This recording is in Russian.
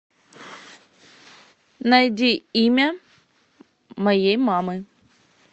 найди имя моей мамы